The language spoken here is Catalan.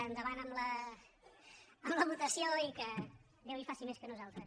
endavant amb la votació i que déu hi faci més que nosaltres